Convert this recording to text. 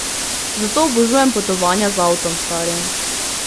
Zato obožujem potovanja z avtom, stari.